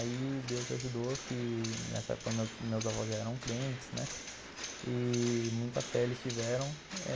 Aí Deus ajudou, que nessa época meus meus avós já eram crentes, né, e muita fé eles tiveram.